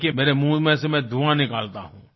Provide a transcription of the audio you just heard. देखिये मेरे मुँह में से मैं धुंआ निकालता हूँ